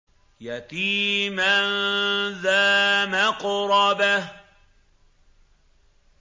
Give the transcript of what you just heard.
يَتِيمًا ذَا مَقْرَبَةٍ